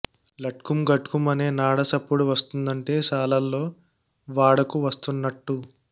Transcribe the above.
లట్కుం ఘట్కుం అనే నాడ సప్పుడు వస్తుందంటే శాలోల్లు వాడకు వస్తున్నట్టు